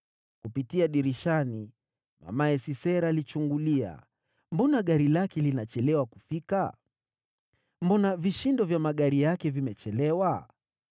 “Kupitia dirishani mamaye Sisera alichungulia; nyuma ya dirisha alilia, akasema, ‘Mbona gari lake linachelewa kufika? Mbona vishindo vya magari yake vimechelewa?’